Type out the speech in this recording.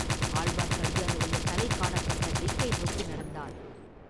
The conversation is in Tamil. ஆழ்வார்க்கடியானுடைய தலை காணப்பட்ட திக்கை நோக்கி நடந்தான்.